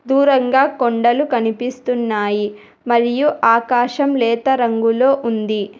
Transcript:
దూరంగా కొండలు కనిపిస్తున్నాయి మరియు ఆకాశం లేత రంగులో ఉంది.